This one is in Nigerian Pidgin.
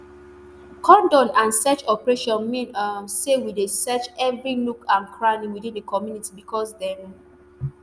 cordon and search operation mean um say we dey search um evri nook and cranny within di community becos dem